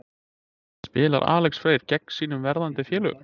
Spilar Alex Freyr gegn sínum verðandi félögum?